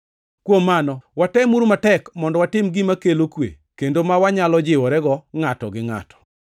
Kuom mano, watemuru matek mondo watim gima kelo kwe kendo ma wanyalo jiworego ngʼato gi ngʼato.